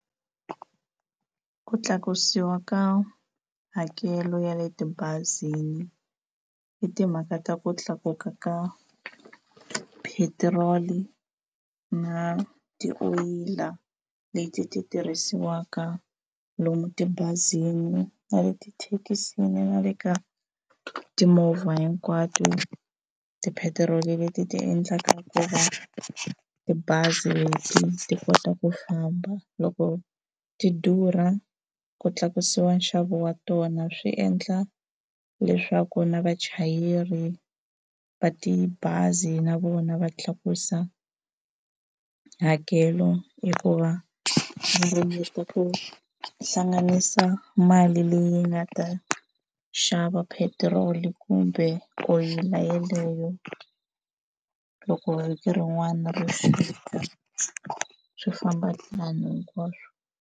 Ku tlakusiwa ka hakelo ya le tibazini i timhaka ta ku tlakuka ka petrol na tioyila leti ti tirhisiwaka lomu tibazini na le tithekisini na le ka timovha hinkwato, tipetiroli leti ti endlaka ku va tibazi leti ti kota ku famba loko ti durha, ku tlakusiwa nxavo wa tona swi endla leswaku na vachayeri va tibazi na vona va tlakusa hakelo hikuva va ringeta ku hlanganisa mali leyi nga ta xava petrol kumbe oyili yaleyo. Loko vhiki rin'wana ri fika swi famba ntlhanu hinkwaswo.